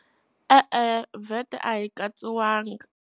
E-e, VAT a yi katsiwangi.